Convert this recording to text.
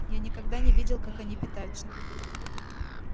я никогда не видел как они питаются